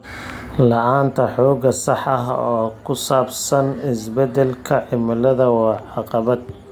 La'aanta xog sax ah oo ku saabsan isbeddelka cimilada waa caqabad.